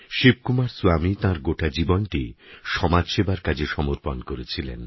শিবকুমার স্বামী তাঁর গোটা জীবনটি সমাজ সেবার কাজে সমর্পণ করেছিলেন